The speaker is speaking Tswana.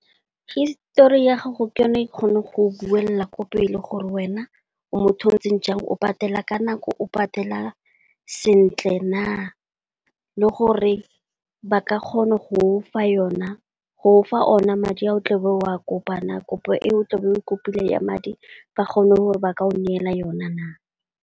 Histori ya gago ke yone e kgona go buela ko pele gore wena o motho ntseng jang, o patela ka nako o patela sentle na. Le gore ba ka kgona go fa ona madi a o tle o bo o a kopa na, kopo e o tle o bo o kopileng ya madi ba kgone gore ba ka o neela yona na.